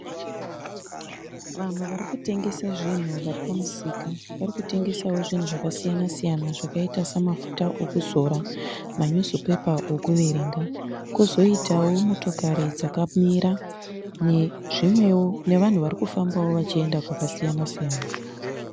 Vanhu varikutengesa zvinu varipamusika . Varikutengesawo zvinu zvakasiyana siyana zvakaita semafuta ekuzora manyuzupepa ekuverenga . Kozoitawo motokari dzakamira nezvimwewo nevanhu varikufambawo vachienda kwakasiyana siyana .